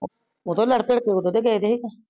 ਓਦੋ ਲਾਰਡ ਤਿਰ੍ਡ ਕੇ ਓਦੋ ਦੇ ਗਏ ਸੀ